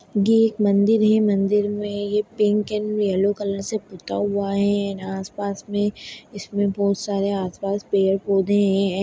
ये एक मंदिर है मंदिर में ये पिंक एंड यल्लो कलर से पुता हुआ है और आसपास में इसमें बहुत सारे आसपास पेड़ पोधे हैं।